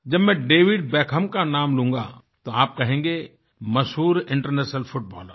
जब मैं David Beckham का नाम लूँगा तो आप कहेंगे मशहूर इंटरनेशनल फुटबॉलर